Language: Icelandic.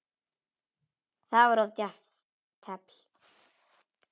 Það var of djarft teflt.